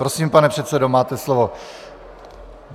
Prosím, pane předsedo, máte slovo.